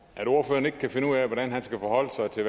at ordføreren ikke kan finde ud af hvordan han skal forholde sig til